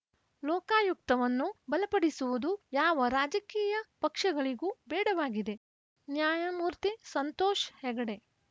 ಲೋಕಾಯುಕ್ತವನ್ನು ಬಲಪಡಿಸುವುದು ಯಾವ ರಾಜಕೀಯ ಪಕ್ಷಗಳಿಗೂ ಬೇಡವಾಗಿದೆ ನ್ಯಾಯಮೂರ್ತಿ ಸಂತೋಷ್‌ ಹೆಗಡೆ